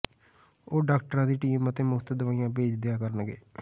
ਉਹ ਡਾਕਟਰਾਂ ਦੀ ਟੀਮ ਅਤੇ ਮੁਫਤ ਦੁਆਈਆਂ ਭੇਜ ਦਿਆ ਕਰਨਗੇ